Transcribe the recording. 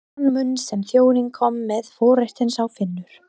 Í þann mund sem þjónninn kom með forréttinn sá Finnur